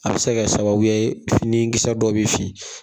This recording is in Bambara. A bɛ se ka kɛ sababuya ye fini kisɛ dɔ bɛ fin.